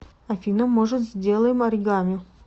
афина может сделаем оригами